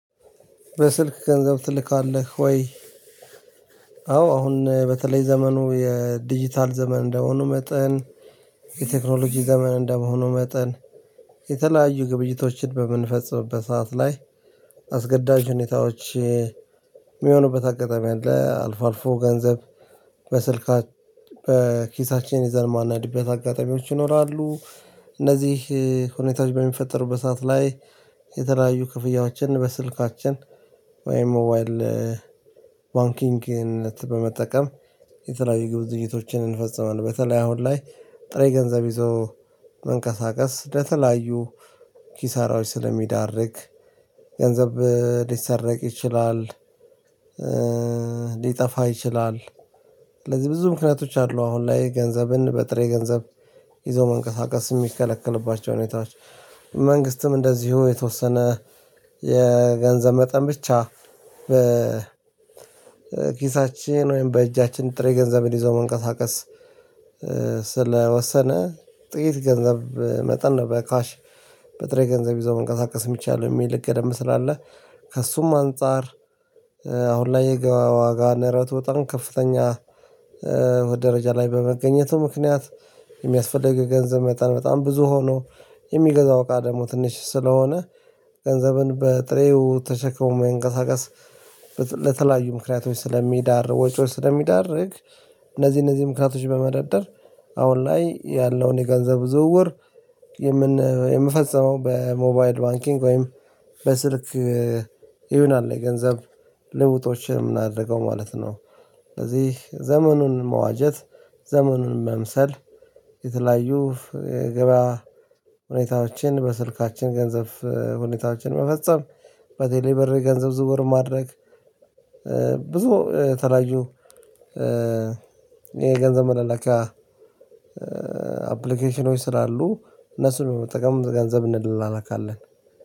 በስልክ ገንዘብ ትልካለህ ወይ? አዎ አሁን በተለይ ዘመኑ የዲጂታል ዘመን እንደመሆኑ መጠን የቴክኖሎጂ ዘመን እንደመሆኑ መጠን የተለያዩ ግብይቶችን በምንፈጽምበት ሰዓት ላይ አስገዳጅ ሁኔታዎች የሚሆኑበት አጋጣሚ አለ። አልፎ አልፎ ገንዘብ በስልካችን በኪሳችን ይዘን ማናድበት አጋጣሚዎች ይኖራሉ። እነዚህ ሁኔታዎች በሚፈጠሩበት ሰዓት ላይ የተለያዩ ክፍያዎችን በስልካችን ወይም ሞባይል ባንኪንግን በመጠቀም የተለያዩ ግብይቶችን እንፈጽማለን። በተለይ አሁን ላይ ጥሬ ግንዘብ ይዞ መንቀሳቀስ ለተለያዩ ኪሳራዎች ስለሚዳርግ ገንዘብ ሊሰረቅ ይችላል። ሊጠፍ ይችላል። ስለዚህ ብዙ ምክንያቶች አሉ። አሁን ላይ ገንዘብን በጥሬ ገንዘብ ይዞ መንቀሳቀስ የሚከለክልባቸው ሁኔታዎች መንግስትም እንደዚሁ የተወሰነ የገንዘብ መጠን ብቻ በኪሳችን ወይም በእጃችን ጥሬ ገንዘብን ይዞ መንቀሳቀስ። ስለወሰነ ጥቂት ገንዘብ መጠን ነበር ካሽ በጥሬ ገንዘብ ይዞ መንቀሳቀስ የሚቻለው የሚል ሄገ ገደምብ ስላለ። ከእሱም አንፃር። አሁን ላይ የገባያ ዋጋ ንረቱ በጣም ከፍተኛ ደረጃ ላይ በመገኘቱ ምክንያት። የሚያስፈልግ የገንዘብ መጠን በጣም ብዙ ሆኖ የሚገዛው እቃ ደግሞ ትንሽ ስለሆነ። ገንዘብን በጥሬው ተሸክሞ መንቅስቃስ ለተለያዩ ምክንያቶች ስለሚዳርግ ወጪዎች ስለሚዳርግ። እነዚህ እነዚህ ምክንያቶች በመደደር አሁን ላይ ያለውን የገንዘብ ዝውውር የምን የምፈጽመው በሞባይል ባንኪንግ ወይም በስልክ ይሁን አለ የገንዘብ ልውጦችን የምናደርገው ማለት ነው። ስለዚህ ዘመኑን መዋጀት ዘመኑን መምሰል የተለያዩ ገበያ ሁኔታዎችን በስልካችን ገንዘብ ሁኔታዎችን መፈጸም በቴሌብር የገንዘብ ዝውውር ማድረግ። ብዙ የተለያዩ የገንዘብ መላላኪያ አፕልኬሽኖች ስላሉ እነሱን በመጠቀም ገንዘብ እንላላካለን።